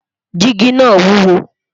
jigi nà wuwo